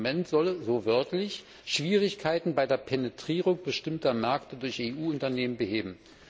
Das Instrument solle so wörtlich Schwierigkeiten bei der Penetrierung bestimmter Märkte durch EU Unternehmen beheben.